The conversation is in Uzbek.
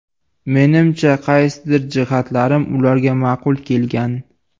Menimcha, qaysidir jihatlarim ularga ma’qul kelgan.